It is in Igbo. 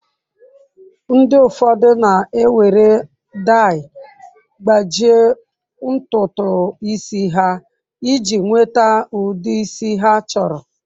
Ndi ụfọdụ na ewere dai gbajie ntutu isi ha iji nweta ụdi isi ha chọrọ.